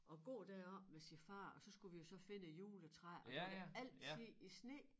At gå deroppe med sin far og så skulle vi jo så finde et juletræ og der var det altid i sne